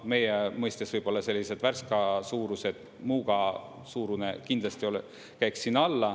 Meie mõistes võib-olla sellised Värska suurused, Muuga suurune kindlasti käiks sinna alla.